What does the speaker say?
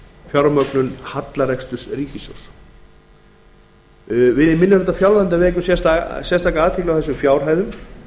fjármögnun hallareksturs ríkissjóðs við í minni hluta fjárlaganefndar vekjum sérstaka athygli á þessum fjárhæðum